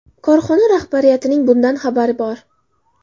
Korxona rahbariyatining bundan xabari bor.